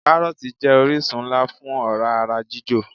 Káròòtì jé orísun nlá fún òrá ara jíjò